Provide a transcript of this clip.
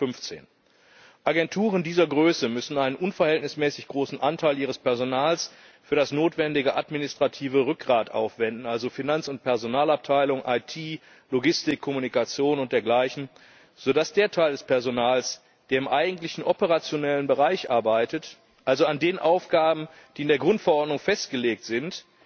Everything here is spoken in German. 2015. Agenturen dieser Größe müssen einen unverhältnismäßig großen Anteil ihres Personals für das notwendige administrative Rückgrat aufwenden, also Finanz und Personalabteilung, IT, Logistik, Kommunikation und dergleichen, sodass der Teil des Personals, der im eigentlichen operationellen Bereich arbeitet, also an den Aufgaben, die in der Grundverordnung festgelegt sind,